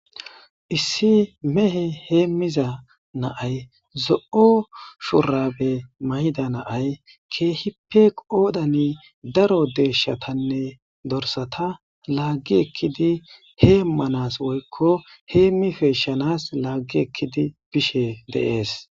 Issi mehe heemmiza naay zo'o shurabe mayda naay keehipe qoodani daro deeshshatanne dorsata laaggi ekkidi hee manas woykko heemmi feeshshanas laaggi ekkidi bishe deees.